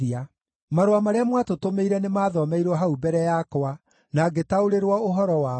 Marũa marĩa mwatũtũmĩire nĩmathomeirwo hau mbere yakwa na ngĩtaũrĩrwo ũhoro wamo.